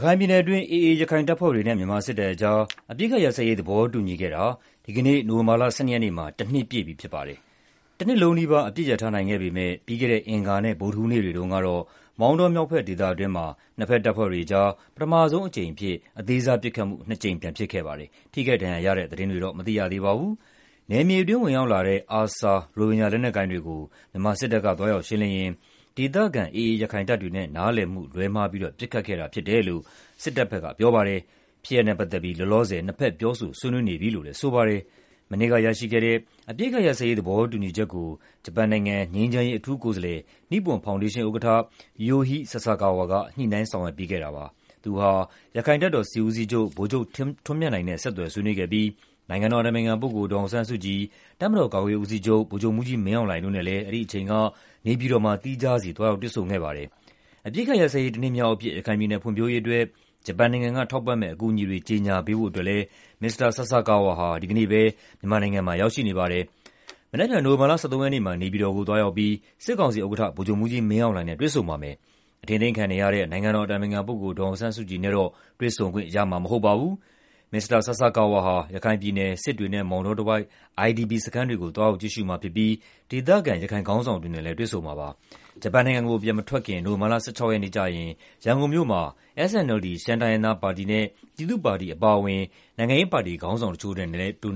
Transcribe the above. ခိုင်ပြည်နယ်အတွင်း AA ရခိုင်တပ်ဖွဲ့တွေနဲ့ မြန်မာစစ်တပ်အကြား အပစ်အခတ်ရပ်စဲရေးသဘောတူညီခဲ့တာ ဒီနေ့ နိုဝင်ဘာ ၁၂ ရက်နေ့မှာ တနှစ်ပြည့်ပြီဖြစ်ပါတယ်။ တနှစ်လုံးနီးပါး အပစ်ရပ်ထားနိုင်ခဲ့ပေမဲ့ ပြီးခဲ့တဲ့ အင်္ဂါနဲ့ ဗုဒ္ဓဟူးနေ့တွေတုန်းကတော့ မောင်တောမြောက်ဘက်ဒေသအတွင်းမှာ နှစ်ဘက်တပ်ဖွဲ့တွေကြား ပထမဆုံးအကြိမ်အဖြစ် အသေးစားပစ်ခတ်မှု ၂ ကြိမ်ပြန်ဖြစ်ခဲ့ပါတယ်။ ထိခိုက်ဒဏ်ရာရရှိမှုသတင်းမသိရပါဘူး။ နယ်မြေအတွင်းဝင်ရောက်လာတဲ့ ARSA ရိုဟင်ဂျာလက်နက်ကိုင်တွေကို မြန်မာစစ် တပ်ကသွားရောက်ရှင်းလင်းရင်း ဒေသခံ AA ရခိုင်တပ်တွေနဲ့နားလည်မှုလွဲမှား ပစ်ခတ်ခဲ့ခြင်းဖြစ်တယ်လို့ မြန်မာဘက်ကပြောပါတယ်။ ဖြစ်ရပ်နဲ့ပတ်သက်ပြီး လောလောဆယ်၂ ဘက်ပြောဆိုဆွေးနွေးနေပြီလို့လည်း ဆိုပါတယ်။ မနှစ်ကရရှိခဲ့တဲ့ အပစ်အခတ်ရပ်စဲရေးသဘောတူညီချက်ကို ဂျပန်နိုင်ငံငြိမ်းချမ်းရေး အထူးကိုယ်စားလယ် နိပွန်ဖောင်ဒေးရှင်းဥက္ကဋ္ဌ Yohei Sasakawa က ညှိနှိုင်းဆောင်ရွက်ပေးခဲ့တာပါ။ သူဟာ AA ရခိုင်တပ်တော်စစ်ဦးစီးချုပ် ဗိုလ်ချုပ်ထွန်းမြတ်နိုင်နဲ့ ဆက်သွယ်ဆွေးနွေးခဲ့ပြီး နိုင်ငံတော်အတိုင်ပင်ခံဒေါ်အောင်ဆန်းစုကြည်၊ တပ်မတော်ကာကွယ်ရေးဦးစီးချုပ် ဗိုလ်ချုပ်မှူးကြီးမင်းအောင်လှိုင်တို့နဲ့လည်း နေပြည်တော်မှာသီးခြားစီ သွားရောက်တွေ့ဆုံခဲ့ရပါတယ်။ အပစ်အခတ်ရပ်စဲရေးတနှစ်မြောက်အဖြစ် ရခိုင်ပြည်နယ်ဖွံ့ဖြိုးရေးအတွက်ဂျပန်နိုင်ငံကေ ထာက်ပံ့မဲ့အကူအညီတွေ ကြေငြာပေးဖို့ မစ္စတာဆာဆာကာဝါ ဒီလနိုဝဘာ ၁၂ရက်နေ့က ရန်ကုန်မြို့ကိုပြန်လည်ရာက်ရှိလာပါတယ်။ မနက်ဖြန် နိုဝင်ဘာ ၁၃ ရက်နေ့မှာ နေပြည်တော်ကိုသွားရောက်ပြီး စစ်ကောင်စီဥက္ကဋ္ဌ ဗိုလ်ချုပ်မှူးကြီးမင်းအောင်လှိုင်နဲ့တွေ့ဆုံပါမယ်။ အထိန်းသိမ်းခံနေရတဲ့ နိုင်ငံတော်အတိုင်ပင်ခံဒေါ်အောင်ဆန်းစုကြည်နဲ့တော့ တွေ့ဆုံခွင့်ရမှာမဟုတ်ပါဘူး။ မစ္စတာဆာဆာကာဝါဟာ ရခိုင်ပြည်နယ်စစ်တွေနဲ့ မောင်တောတဝိုက် IDP စခန်းတွေကိုသွားရောက်ကြည့်ရှုမှာဖြစ်ပြီး ဒေသခံရခိုင်ခေါင်းဆောင်တွေနဲ့လည်း တွေ့ဆုံမှာပါ။ ဂျပန်နိုင်ငံကိုပြန်လည်မထွက်ခွါမီ နိုဝင်ဘာ ၁၆ ရက်နေ့ ရန်ကုန်မြို့မှာ SNLD ရှမ်းတိုင်းရင်းသားပါတီနဲ့ ပြည်သူ့ပါတီအပါအဝင် နိုင်ငံရေးပါတီခေါင်းဆောင်တချို့နဲ့ တွေ့